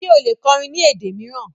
Ṣe o le kọrìn ni èdè miiran?